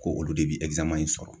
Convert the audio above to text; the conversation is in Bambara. Ko olu de bi in sɔrɔ.